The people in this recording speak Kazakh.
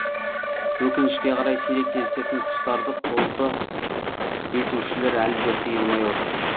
өкінішке қарай сирек кездесетін құстарды қолды етушілер әлі де тыйылмай отыр